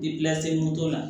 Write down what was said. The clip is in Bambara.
la